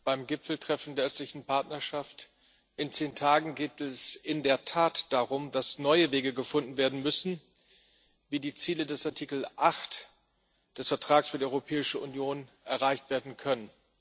Beim Gipfeltreffen der Östlichen Partnerschaft in zehn Tagen geht es in der Tat darum, dass neue Wege gefunden werden müssen, wie die Ziele des Artikels 8 des Vertrags über die Europäische Union erreicht werden können.